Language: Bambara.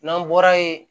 N'an bɔra yen